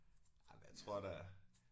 Ej men jeg tror da